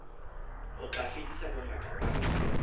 ho tla fedisa bongata ba